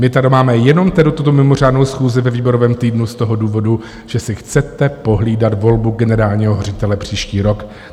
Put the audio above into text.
My tady máme jenom tedy tuto mimořádnou schůzi ve výborovém týdnu z toho důvodu, že si chcete pohlídat volbu generálního ředitele příští rok.